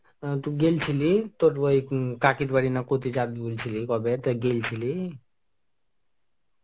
গেছিলি তোর ওই কাকীর বাড়ি না কোথায় যাবি বলছিলি কবে তো গেলছিলি?